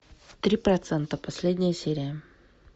три процента последняя серия